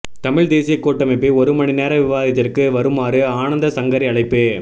தமிழ் தேசியக் கூட்டமைப்பை ஒரு மணிநேர விவாதத்திற்கு வருமாறு ஆனந்தசங்கரி அழைப்பு